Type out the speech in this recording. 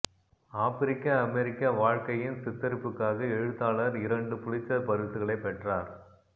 ஆப்பிரிக்க அமெரிக்க வாழ்க்கையின் சித்தரிப்புக்காக எழுத்தாளர் இரண்டு புலிட்சர் பரிசுகளை பெற்றார்